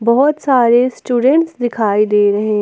बहुत सारे स्टूडेंट दिखाई दे रहे हैं।